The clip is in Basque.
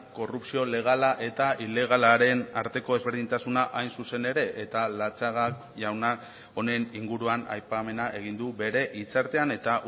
korrupzio legala eta ilegalaren arteko ezberdintasuna hain zuzen ere eta latxaga jauna honen inguruan aipamena egin du bere hitzartean eta